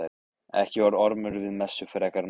Ekki var Ormur við messu frekar en oft áður.